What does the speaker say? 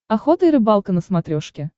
охота и рыбалка на смотрешке